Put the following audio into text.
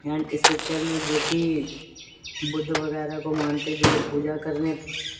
and इस picture में जो की बुद्ध वगैरह को मानते जो पूजा करने--